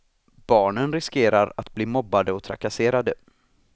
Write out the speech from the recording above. Barnen riskerar att bli mobbade och trakasserade.